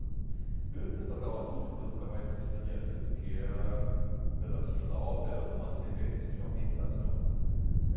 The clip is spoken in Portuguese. Primeiro porque tocava uma música que eu nunca mais esqueci na minha vida, que era um pedacinho da ópera do Massenet, que se chama Meditação.